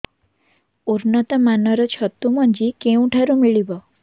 ଉନ୍ନତ ମାନର ଛତୁ ମଞ୍ଜି କେଉଁ ଠାରୁ ମିଳିବ